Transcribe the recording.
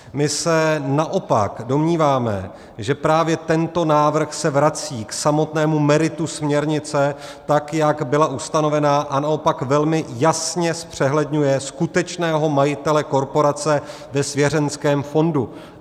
My se naopak domníváme, že právě tento návrh se vrací k samotnému meritu směrnice tak, jak byla ustanovena, a naopak velmi jasně zpřehledňuje skutečného majitele korporace ve svěřenském fondu.